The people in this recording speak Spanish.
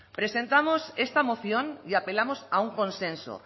presentamos esta moción y apelamos a un consenso